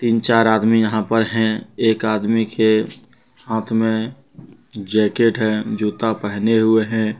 तीन चार आदमी यहां पर हैं एक आदमी के हाथ में जैकेट है जूता पहने हुए है।